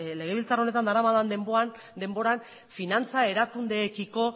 legebiltzar honetan daramadan denboran finantza erakundeekiko